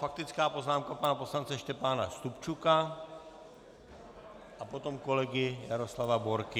Faktická poznámka pana poslance Štěpána Stupčuka a potom kolegy Jaroslava Borky.